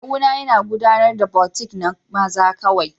Kawuna yana gudanar da boutique na maza kawai